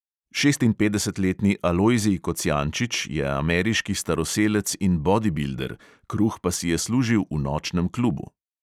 Šestinpetdesetletni alojzij kocijančič je ameriški staroselec in bodibilder, kruh pa si je služil v nočnem klubu.